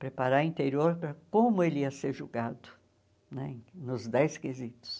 Preparar o interior para como ele ia ser julgado, né nos dez quesitos.